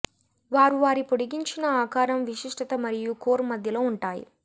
వారు వారి పొడిగించిన ఆకారం విశిష్టత మరియు కోర్ మధ్యలో ఉంటాయి